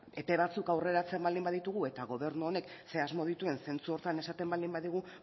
epe batzuk aurreratzen baldin baditugu eta gobernu honek zer asmo dituen zentzu horretan esaten baldin badigu